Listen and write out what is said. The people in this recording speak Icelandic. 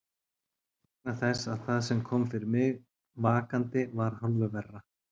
Vegna þess að það sem kom fyrir mig vakandi var hálfu verra.